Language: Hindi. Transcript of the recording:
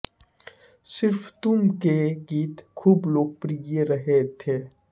सिर्फ तुम के गीत खूब लोकप्रिय रहे थे